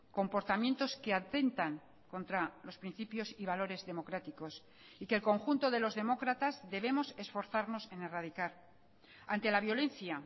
comportamientos que atentan contra los principios y valores democráticos y que el conjunto de los demócratas debemos esforzarnos en erradicar ante la violencia